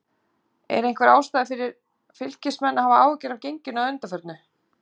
Er einhver ástæða fyrir Fylkismenn að hafa áhyggjur af genginu að undanförnu?